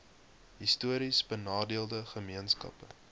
histories benadeelde gemeenskappe